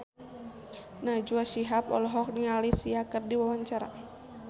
Najwa Shihab olohok ningali Sia keur diwawancara